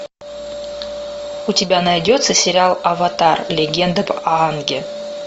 у тебя найдется сериал аватар легенда об аанге